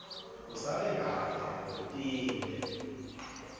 usale kahle utinte